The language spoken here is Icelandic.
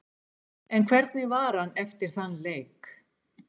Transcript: En hvernig var hann eftir þann leik?